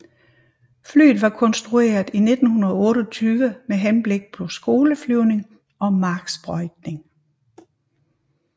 Flyet var konstrueret i 1928 med henblik på skoleflyvning og marksprøjtning